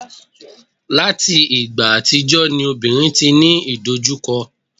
láti ìgbà àtijọ́ ni obìnrin ti ní idojukọ